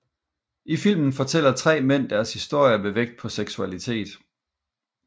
I filmen fortæller tre mænd deres historie med vægt på seksualitet